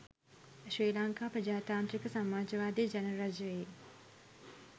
ශ්‍රී ලංකා ප්‍රජාතාන්ත්‍රික සමාජවාදි ජනරජයේ